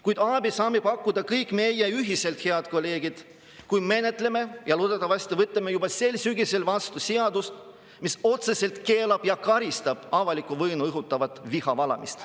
Kuid abi saame pakkuda kõik meie ühiselt, head kolleegid, kui menetleme eelnõu ja loodetavasti võtame juba sel sügisel vastu seaduse, mis otseselt keelab ja karistab avalikku vaenu õhutavat vihavalamist.